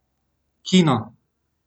Kino!